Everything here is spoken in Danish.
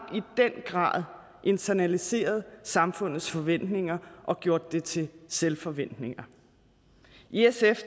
grad internaliseret samfundets forventninger og gjort det til selvforventninger i sf